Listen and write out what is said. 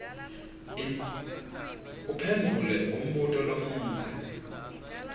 uphendvule umbuto lomudze